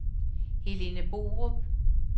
Helene Borup